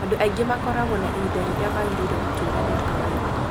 Andũ angĩ makorago na ihinda rĩrĩa mangĩrĩire gũtũũra rĩa kawaida.